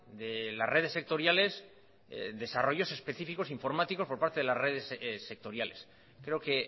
de las redes sectoriales desarrollos específicos informáticos por parte de las redes sectoriales creo que